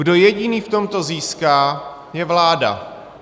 Kdo jediný v tomto získá, je vláda.